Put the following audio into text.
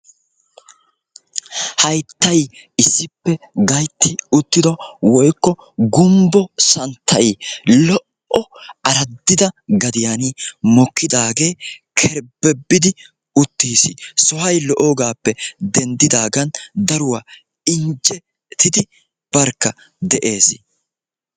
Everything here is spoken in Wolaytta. Hayttayi issippe gaytti uttido woykko gumbbo santtay lo"o araddida gadiyan mokkidaage kerbbebidi uttiis. sohoy lo"idoogappe denddidaagan daruwa injjetidi barkka de'ees.